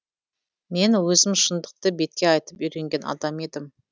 мен өзім шындықты бетке айтып үйренген адам едім